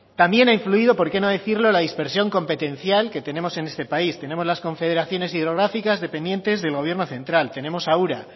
también ha influido por qué no decirlo la dispersión competencial que tenemos en este país tenemos las confederaciones hidrográficas dependientes del gobierno central tenemos a ura